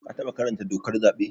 Ka taɓa karanta dokar zaɓe?